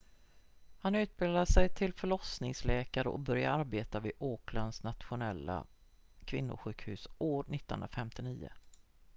han utbildade sig till förlossningsläkare och började arbeta vid aucklands nationella kvinnosjukhus år 1959